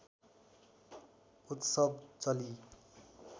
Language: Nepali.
उत्सव चलि